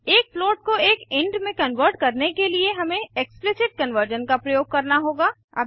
एक फ्लोट को एक इंट में कन्वर्ट करने के लिए हमें एक्सप्लिसिट कन्वर्जन का प्रयोग करना होगा